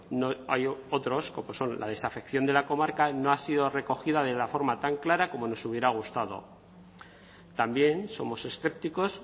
hay otros como son la desafección de la comarca no ha sido recogida de la forma tan clara como nos hubiera gustado también somos escépticos